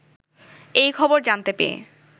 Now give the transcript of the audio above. এই খবর জানতে পেয়ে